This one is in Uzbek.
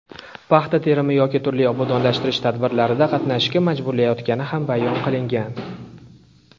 paxta terimi yoki turli obodonlashtirish tadbirlarida qatnashishga majburlayotgani ham bayon qilingan.